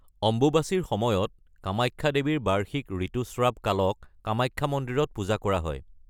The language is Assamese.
অম্বুবাচীৰ সময়ত, কামাখ্যা দেৱীৰ বাৰ্ষিক ঋতুস্ৰাৱ কালক কামাখ্যা মন্দিৰত পূজা কৰা হয়।